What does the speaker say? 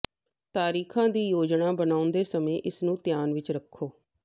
ਤਾਰੀਖ਼ਾਂ ਦੀ ਯੋਜਨਾ ਬਣਾਉਂਦੇ ਸਮੇਂ ਇਸ ਨੂੰ ਧਿਆਨ ਵਿਚ ਰੱਖੋ